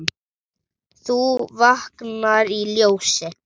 þú vaknar í ljósi.